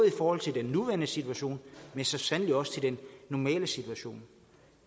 i forhold til den nuværende situation men så sandelig også til den normale situation